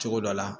Cogo dɔ la